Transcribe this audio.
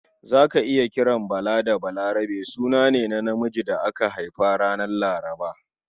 Za ka iya kiran Bala da Balarabe suna ne na namiji da aka haifa ranar Laraba.